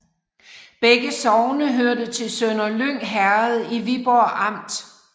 Begge sogne hørte til Sønderlyng Herred i Viborg Amt